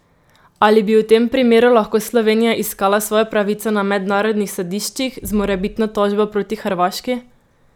Ali bi v tem primeru lahko Slovenija iskala svojo pravico na mednarodnih sodiščih, z morebitno tožbo proti Hrvaški?